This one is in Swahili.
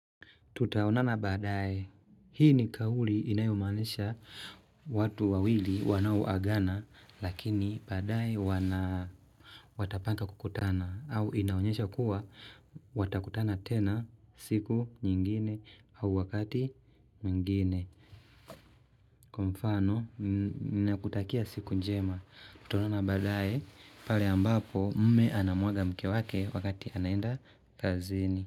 Tutaonana baadae, hii ni kauli inayomaanisha, watu wawili wanaoagana lakini baadae wana. Watapanga kukutana, au inaonyesha kuwa watakutana tena, siku nyingine au wakati mwingine. Kwa mfano, n nakutakia siku njema, tutaonana baadae, pale ambapo mme anamuaga mke wake wakati anaenda kazini.